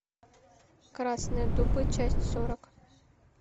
красные дубы часть сорок